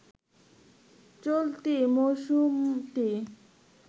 চলতি মৌসুমটি